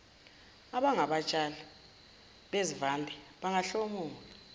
abangabatshali bezivande bahlomula